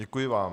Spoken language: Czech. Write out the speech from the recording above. Děkuji vám.